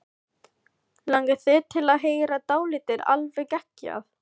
Langar þig til að heyra dálítið alveg geggjað?